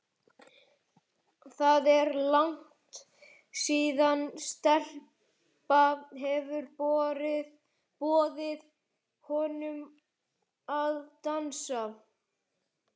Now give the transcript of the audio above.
Það er langt síðan stelpa hefur boðið honum að dansa.